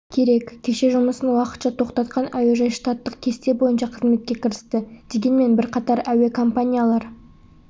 керек кеше жұмысын уақытша тоқтатқан әуежай штаттық кесте бойынша қызметке кірісті дегенмен бірқатар әуе компаниялар